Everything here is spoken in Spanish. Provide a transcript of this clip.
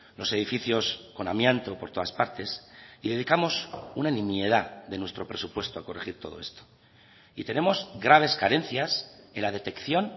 los edificios con amianto por todas partes y dedicamos una nimiedad de nuestro presupuesto a corregir todo esto y tenemos graves carencias en la detección